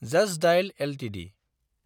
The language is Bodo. just Dial Ltd